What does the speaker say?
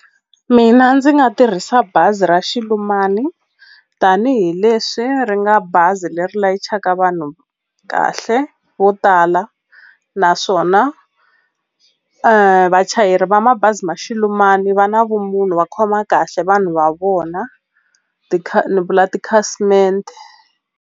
Mina ndzi nga tirhisa bazi ra Xilumani mani tanihileswi ri nga bazi leri layichaka vanhu kahle vo tala naswona vachayeri va mabazi ma Xilumani va na vumunhu va khoma kahle vanhu va vona ni vula tikhasimende.